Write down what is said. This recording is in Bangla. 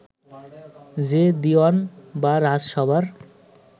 যে দিওয়ান বা রাজসভার